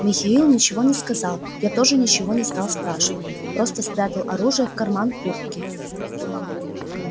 михаил ничего не сказал я тоже ничего не стал спрашивать просто спрятал оружие в карман куртки